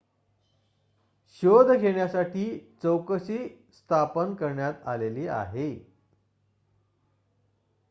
शोध घेण्यासाठी चौकशी स्थापन करण्यात आलेली आहे